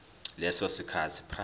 leso sikhathi prior